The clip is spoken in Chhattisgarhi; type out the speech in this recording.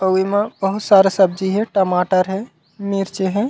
अऊ एमा बहुत सारा सब्जी हे टमाटर हे मिर्ची हे।